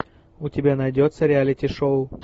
у тебя найдется реалити шоу